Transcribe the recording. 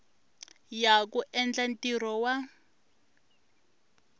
ya ku endla ntirho wa